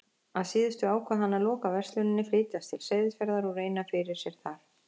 Að síðustu ákvað hann að loka versluninni, flytjast til Seyðisfjarðar og reyna fyrir sér þar.